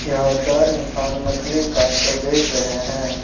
यहां चार इंसान मछली काटकर बेच रहे हैं।